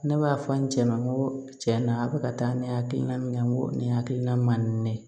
Ne b'a fɔ n cɛ ma n ko cɛn na a bɛ ka taa ne hakilina min na n ko nin hakilina man di ne ye